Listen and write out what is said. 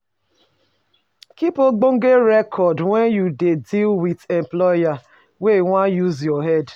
Keep ogbonge record when you dey deal with employer wey wan use your head